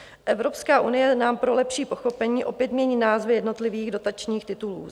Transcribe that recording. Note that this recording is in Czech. Evropská unie nám pro lepší pochopení opět mění názvy jednotlivých dotačních titulů.